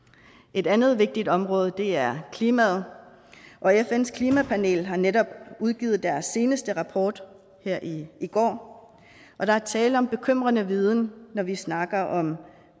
et andet vigtigt område er klimaet fns klimapanel har netop udgivet deres seneste rapport her i går og der er tale om bekymrende viden når vi snakker om